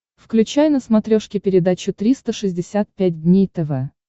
включай на смотрешке передачу триста шестьдесят пять дней тв